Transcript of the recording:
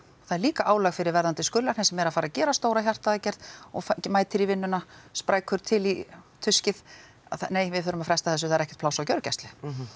það er líka álag fyrir verðandi skurðlækna sem eru að fara að gera stóra hjartaaðgerð og mætir í vinnuna sprækur og til í tuskið nei við þurfum að fresta þessu það er ekkert pláss á gjörgæslu